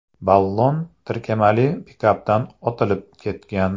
Ballon tirkamali pikapdan otilib ketgan.